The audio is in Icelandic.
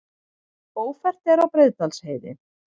Ófært er á Breiðdalsheiði